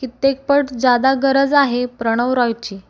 कित्येकपट ज्यादा गरज आहे प्रणव रॉयची